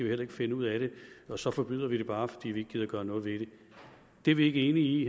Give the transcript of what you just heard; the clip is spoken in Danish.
heller ikke finde ud af det så forbyder vi det bare fordi vi ikke gider at gøre noget ved det det er vi ikke enige i